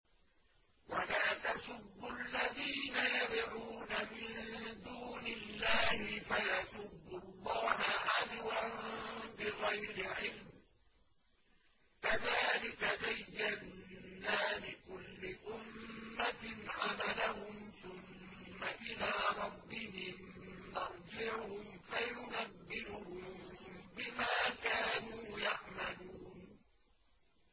وَلَا تَسُبُّوا الَّذِينَ يَدْعُونَ مِن دُونِ اللَّهِ فَيَسُبُّوا اللَّهَ عَدْوًا بِغَيْرِ عِلْمٍ ۗ كَذَٰلِكَ زَيَّنَّا لِكُلِّ أُمَّةٍ عَمَلَهُمْ ثُمَّ إِلَىٰ رَبِّهِم مَّرْجِعُهُمْ فَيُنَبِّئُهُم بِمَا كَانُوا يَعْمَلُونَ